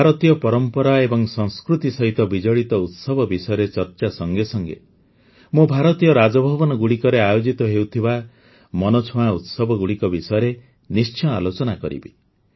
ଭାରତୀୟ ପରମ୍ପରା ଏବଂ ସଂସ୍କୃତି ସହିତ ବିଜଡ଼ିତ ଉତ୍ସବ ବିଷୟରେ ଚର୍ଚ୍ଚା ସଙ୍ଗେ ସଙ୍ଗେ ମୁଁ ଭାରତୀୟ ରାଜଭବନଗୁଡ଼ିକରେ ଆୟୋଜିତ ହେଉଥିବା ମନଛୁଆଁ ଉତ୍ସବଗୁଡ଼ିକ ବିଷୟରେ ନିଶ୍ଚୟ ଆଲୋଚନା କରିବି